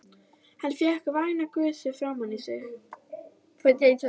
Hann fékk væna gusu framan á sig.